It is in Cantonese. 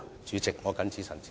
主席，我謹此陳辭。